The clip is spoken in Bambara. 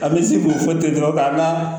An bɛ se k'o fɔ ten dɔrɔn k'an ka